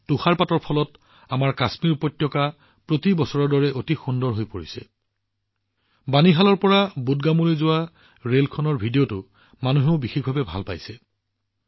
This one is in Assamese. তুষাৰপাতৰ ফলত আমাৰ কাশ্মীৰ উপত্যকা এইবাৰো প্ৰতি বছৰৰ দৰে অতি ধুনীয়া হৈ পৰিছে মানুহে বিশেষকৈ বানিহালৰ পৰা বুদগামলৈ যোৱা ৰেলখনৰ ভিডিঅটো চাই ভাল পাইছে